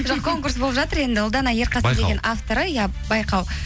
жоқ конкурс болып жатыр енді ұлдана авторы иә байқау